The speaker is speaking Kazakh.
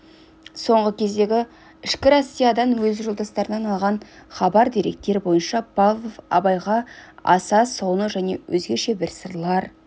соңғы кездегі ішкі россиядан өз жолдастарынан алған хабар деректер бойынша павлов абайға аса соны және өзгеше бір сырлар